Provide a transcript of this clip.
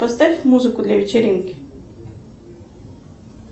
поставь музыку для вечеринки